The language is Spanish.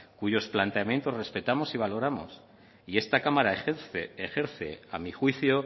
cuyos planteamientos respetamos y valoramos y esta cámara ejerce ejerce a mi juicio